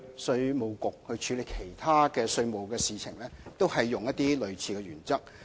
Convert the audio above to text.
稅務局過去處理其他稅務事項時，也是使用類似的原則。